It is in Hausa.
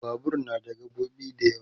Babur na da gaɓoɓi da yawa